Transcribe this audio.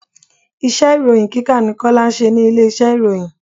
Iṣẹ́ ìròhìn kíkà ni Kọ́lá ń ṣe ní ilé iṣẹ́ ìròyìn.